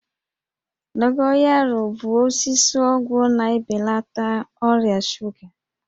Dogoyaro bụ osisi ọgwụ na-ebelata ọrịa shuga